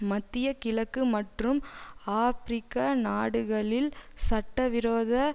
மத்திய கிழக்கு மற்றும் ஆபிரிக்க நாடுகளில் சட்டவிரோத